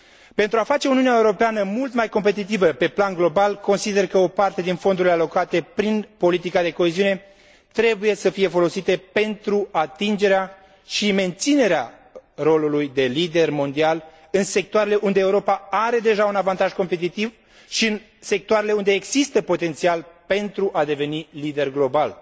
Pentru a face Uniunea Europeană mult mai competitivă pe plan global, consider că o parte din fondurile alocate prin politica de coeziune trebuie să fie folosite pentru atingerea și menținerea rolului de lider mondial în sectoarele unde Europa are deja un avantaj competitiv și în sectoarele unde există potențial pentru a deveni lider global.